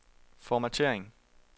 formattering